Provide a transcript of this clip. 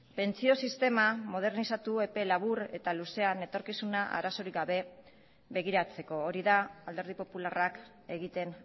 pentsio sistema modernizatu epe labur eta luzean etorkizuna arazorik gabe begiratzeko hori da alderdi popularrak egiten